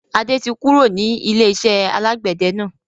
Adé tí kúrò ní ilé-iṣẹ́ alàgbẹ̀dẹ náà.